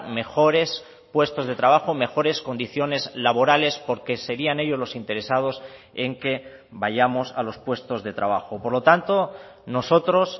mejores puestos de trabajo mejores condiciones laborales porque serían ellos los interesados en que vayamos a los puestos de trabajo por lo tanto nosotros